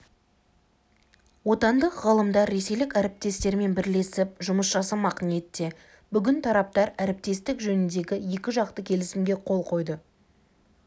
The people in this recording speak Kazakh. отандық ғалымдар ресейлік әріптестерімен бірлесіп жұмыс жасамақ ниетте бүгін тараптар әріптестік жөніндегі екіжақты келісімге қол қойды